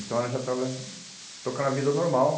Então, ela já estava tocando a vida normal.